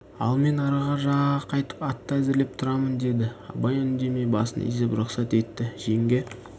ал мен арғы жағаға қайтып атты әзірлеп тұрамын деді абай үндемей басын изеп рұқсат етті жеңге